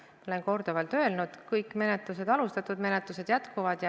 Ma olen korduvalt öelnud: kõik need menetlused, mis on alustatud, jätkuvad.